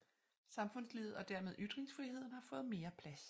Samfundslivet og dermed ytringsfriheden har fået mere plads